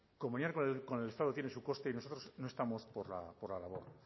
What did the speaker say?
comunicar con el estado tiene su coste y nosotros no estamos por la labor